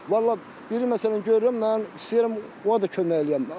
Vallah biri məsələn görürəm mən, istəyirəm ona da kömək eləyəm.